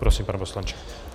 Prosím, pane poslanče.